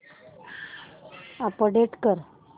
update कर